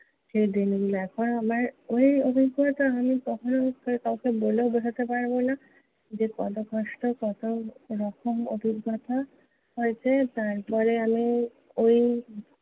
সেই দিনগুলো। এখন আমার ঐ অবস্থাটা আমি কখনও কাউকে বলেও বোঝাতে পারবো না, যে কত কষ্ট, কত রকম অভিজ্ঞতা হয়েছে। তারপরে আমি ঐ